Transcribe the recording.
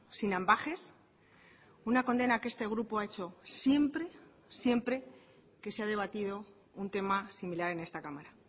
sin ambages una condena que este grupo ha hecho siempre siempre que se ha debatido un tema similar en esta cámara